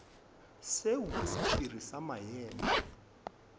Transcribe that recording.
seo ke sephiri sa maemo